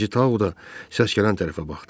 Birinci Tao da səs gələn tərəfə baxdı.